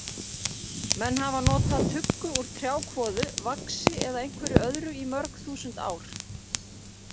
Menn hafa nota tuggu úr trjákvoðu, vaxi eða einhverju öðru í mörg þúsund ár.